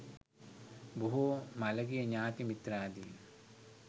බොහෝ මළගිය ඥාති මිත්‍රාදීන්